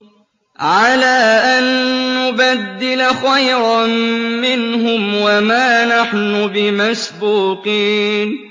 عَلَىٰ أَن نُّبَدِّلَ خَيْرًا مِّنْهُمْ وَمَا نَحْنُ بِمَسْبُوقِينَ